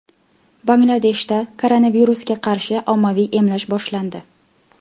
Bangladeshda koronavirusga qarshi ommaviy emlash boshlandi.